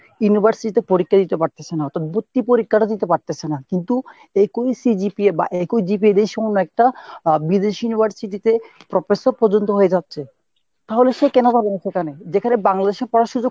university তে পরীক্ষা দিতে পারতেছে না তো ভর্তি পরীক্ষাটা দিতে পারতেছে না কিন্তু একই CGPA বা একই GPA দিয়ে একটা আহ বিদেশী university তে professor পর্যন্ত হয়ে যাচ্ছে তাহলে সে কেন পারবেনা সেখানে যেখানে বাংলাদেশের পড়ার সুযুগ